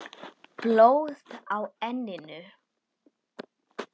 Blóð á enninu.